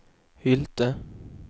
Hylte